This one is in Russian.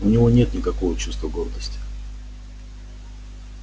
у него нет никакого чувства гордости